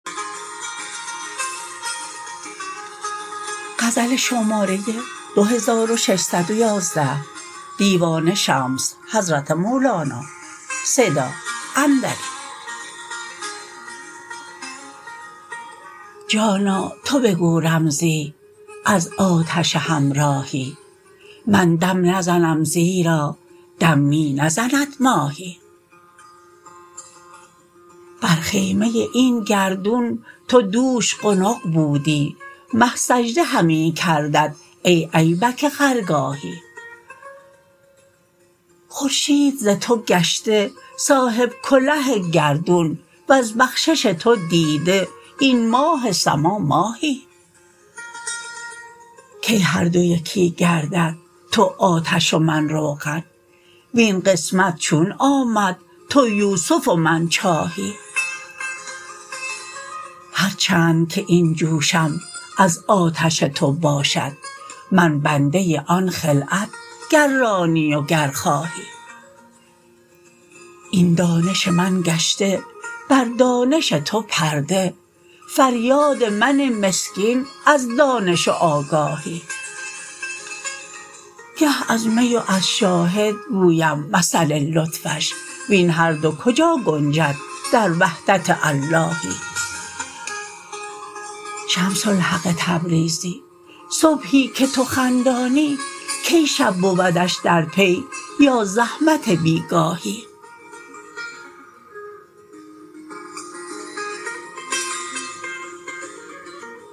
جانا تو بگو رمزی از آتش همراهی من دم نزنم زیرا دم می نزند ماهی بر خیمه این گردون تو دوش قنق بودی مه سجده همی کردت ای ایبک خرگاهی خورشید ز تو گشته صاحب کله گردون وز بخشش تو دیده این ماه سما ماهی کی هر دو یکی گردد تو آتش و من روغن وین قسمت چون آمد تو یوسف و من چاهی هر چند که این جوشم از آتش تو باشد من بنده آن خلعت گر رانی و گر خواهی این دانش من گشته بر دانش تو پرده فریاد من مسکین از دانش و آگاهی گه از می و از شاهد گویم مثل لطفش وین هر دو کجا گنجد در وحدت اللهی شمس الحق تبریزی صبحی که تو خندانی کی شب بودش در پی یا زحمت بی گاهی